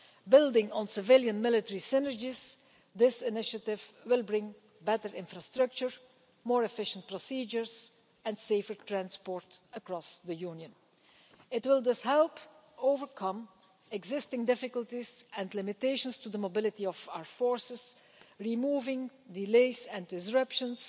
Building on civilian military synergies, this initiative will bring better infrastructure, more efficient procedures, and safer transport across the Union. It will thus help overcome existing difficulties and limitations on the mobility of our forces, removing delays and disruptions,